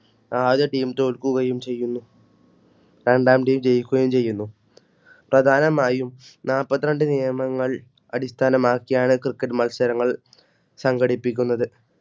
ആദ്യ team തോൽക്കുകയും ചെയ്യുന്നു. രണ്ടാം team ജയിക്കുകയും ചെയ്യുന്നു. പ്രധാനമായും നാല്പത്തിരണ്ട്‍ നിയമങ്ങൾ അടിസ്ഥാനമാക്കിയാണ്മ cricket ത്സരങ്ങൾ സംഘടിപ്പിക്കുന്നത്.